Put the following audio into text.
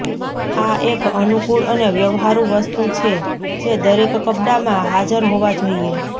આ એક અનુકૂળ અને વ્યવહારુ વસ્તુ છે જે દરેક કપડામાં હાજર હોવા જોઈએ